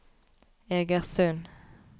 Egersund